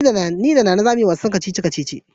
Ni da Nana za mu yi wasu kacici-kacici.